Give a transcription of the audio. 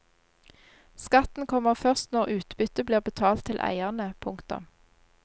Skatten kommer først når utbytte blir betalt til eierne. punktum